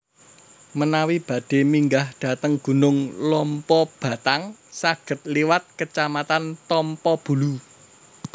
Menawi badhe minggah dhateng Gunung Lompobattang saged liwat kecamatan Tompobulu